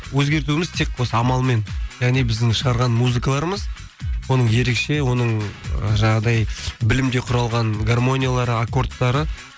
өзгертуіміз тек осы амалмен яғни біздің шығарған музыкаларымыз оның ерекше оның ы жаңағыдай білімге құралған гармониялары аккордтары